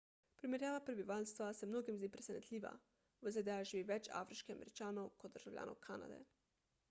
primerjava prebivalstva se mnogim zdi presenetljiva v zda živi več afriških američanov kot državljanov kanade